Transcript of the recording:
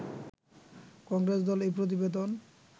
কংগ্রেস দল এই প্রতিবেদন